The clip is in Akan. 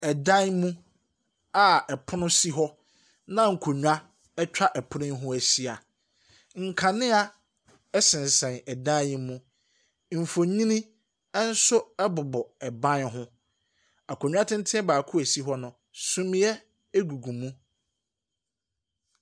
Ɛdan mu a pono si na nkonnwa atwa pono yi ho ahyia, nkanea sesɛn dan yi mu. Mfonyini nso bobɔ ban ho. Akonnwa tenten baako a esi hɔ no, sumiiɛ gugu mu.